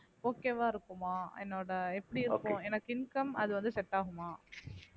okay வா இருக்குமா என்னோட எப்படி இருக்கும் எனக்கு income அது வந்து set ஆகுமா